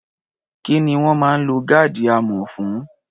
Kí ni wọ́n máa ń lo gáàdì amọ̀ fún?